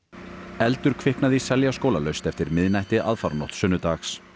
eldur kviknaði í Seljaskóla laust eftir miðnætti aðfaranótt sunnudags